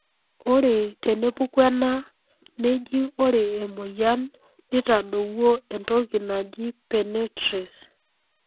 ore tenepuku ena. neji ore emoyian nitadowuo entoki najii penetrace.